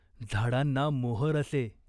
झाडांना मोहर असे.